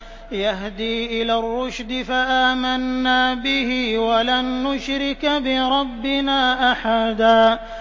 يَهْدِي إِلَى الرُّشْدِ فَآمَنَّا بِهِ ۖ وَلَن نُّشْرِكَ بِرَبِّنَا أَحَدًا